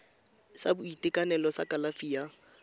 sa boitekanelo sa kalafi ya